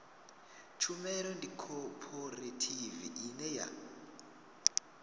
tshumelo ndi khophorethivi ine ya